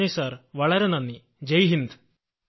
നന്ദി സർ വളരെ നന്ദി ജയ് ഹിന്ദ്